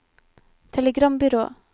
telegrambyrå